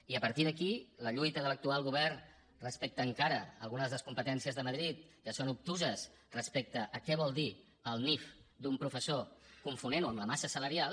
i a partir d’aquí la lluita de l’actual govern respecte encara algunes de les competències de madrid que són obtuses respecte a què vol dir el nif d’un professor confonent ho amb la massa salarial